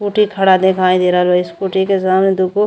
Scooty खड़ा दिखाई दे रहल बा। स्कूटी के सामने दुगो --